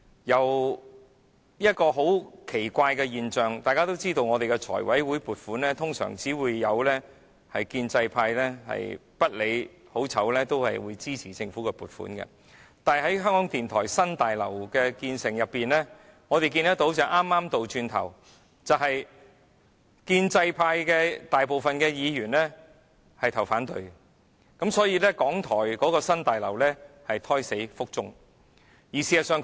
有一個很奇怪的現象，大家也知道在立法會財務委員會審議撥款時，建制派通常是不理好壞，也會一律支持通過政府的撥款申請，但有關港台新大樓的興建工程，我們看見的情況剛好是倒過來的，即建制派大部分議員也投下反對票，因此，港台的新大樓計劃胎死腹中。